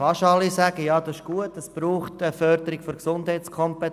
Fast alle sagen, dies sei gut und es brauche eine Förderung der Gesundheitskompetenz.